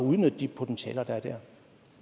udnytte de potentialer der er der